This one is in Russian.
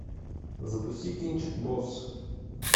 запусти кинчик босс